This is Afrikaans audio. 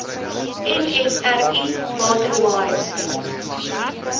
nsri water wise